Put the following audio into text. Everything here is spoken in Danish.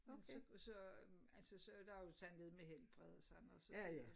Men så og så altså så der jo sådan noget med helbred og sådan og så videre